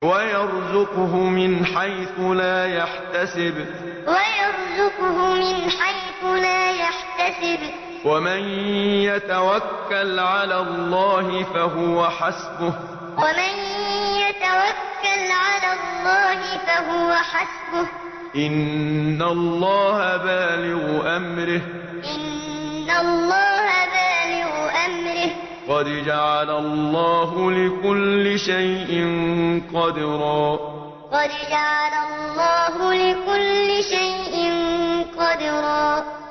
وَيَرْزُقْهُ مِنْ حَيْثُ لَا يَحْتَسِبُ ۚ وَمَن يَتَوَكَّلْ عَلَى اللَّهِ فَهُوَ حَسْبُهُ ۚ إِنَّ اللَّهَ بَالِغُ أَمْرِهِ ۚ قَدْ جَعَلَ اللَّهُ لِكُلِّ شَيْءٍ قَدْرًا وَيَرْزُقْهُ مِنْ حَيْثُ لَا يَحْتَسِبُ ۚ وَمَن يَتَوَكَّلْ عَلَى اللَّهِ فَهُوَ حَسْبُهُ ۚ إِنَّ اللَّهَ بَالِغُ أَمْرِهِ ۚ قَدْ جَعَلَ اللَّهُ لِكُلِّ شَيْءٍ قَدْرًا